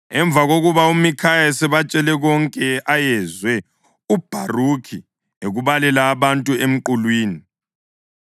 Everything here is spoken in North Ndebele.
Emva kokuba uMikhaya esebatshele konke ayezwe uBharukhi ekubalela abantu emqulwini,